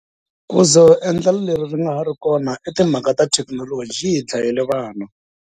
Ku za endlelo leri ri nga ha ri kona i timhaka ta thekinoloji yi hi dlayele vana.